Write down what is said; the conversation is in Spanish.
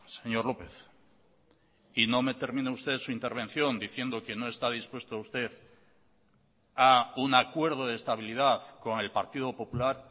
señor lópez y no me termine usted su intervención diciendo que no está dispuesto usted a un acuerdo de estabilidad con el partido popular